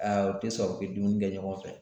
Aa u te sɔn u ke dumuni kɛ ɲɔgɔn fɛ